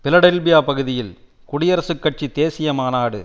Philadelphia பகுதியில் குடியரசுக் கட்சி தேசிய மாநாடு